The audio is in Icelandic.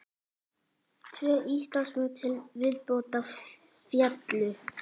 Tvö Íslandsmet til viðbótar féllu